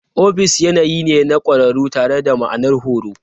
Ofis yanayi ne na ƙwararru tare da ma'anar horo.